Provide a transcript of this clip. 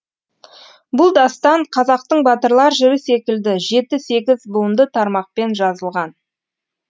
бұл дастан қазақтың батырлар жыры секілді жеті сегіз буынды тармақпен жазылған